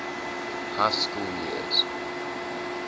high school years